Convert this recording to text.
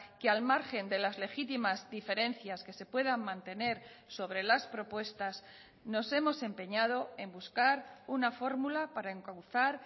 que al margen de las legítimas diferencias que se puedan mantener sobre las propuestas nos hemos empeñado en buscar una fórmula para encauzar